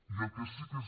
i el que sí que és